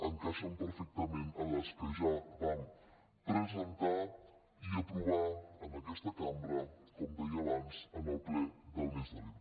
encaixen perfectament amb les que ja vam presentar i aprovar en aquesta cambra com deia abans en el ple del mes d’abril